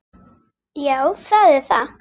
Já, það er það.